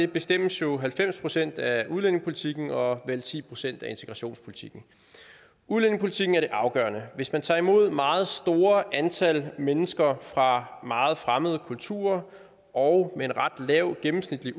bestemmes jo halvfems procent af udlændingepolitikken og vel ti procent af integrationspolitikken udlændingepolitikken er det afgørende hvis man tager imod meget store antal mennesker fra meget fremmede kulturer og med et ret lavt gennemsnitligt